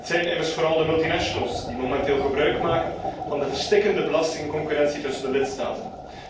Het zijn immers vooral de multinationals die momenteel gebruik maken van de verstikkende belastingconcurrentie tussen de lidstaten.